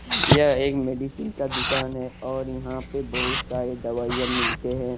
यह एक मेडिसिन का दुकान है और यहां पे बहुत सारे दवाइयां मिलते है।